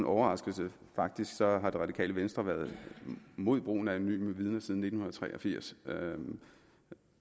overraskelse for faktisk har det radikale venstre været imod brugen af anonyme vidner siden nitten tre og firs i